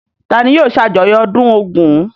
Ta ni yóò ṣàjọyọ̀ ọdún Ògún?